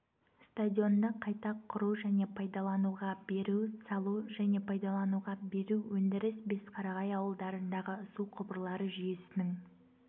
стадионды қайта құру және пайдалануға беру салу және пайдалануға беру өндіріс бесқарағай ауылдарындағы су құбырлары жүйесінің